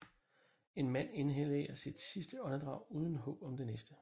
En mand inhalerer sit sidste åndedrag uden håb om det næste